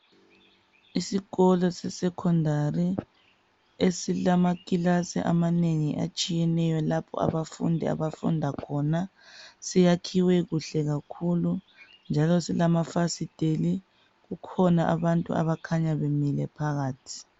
Isikolo se Secondary esilamakilasi amanengi atshiyeneyo lapho abafundi abafunda khona siyakhiwe kuhle kakhulu njalo silamafasiteli kukhona abantu abakhanya bemile phakathi